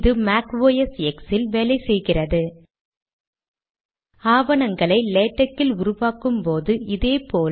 make OS X இன் இலவச pdfரீடர் ஸ்கிம் ஐ பயன்படுத்துகிறேன்